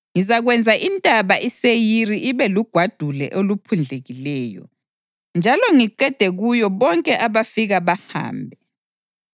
Ngizakwenza iNtaba iSeyiri ibe lugwadule oluphundlekileyo, njalo ngiqede kuyo bonke abafika bahambe.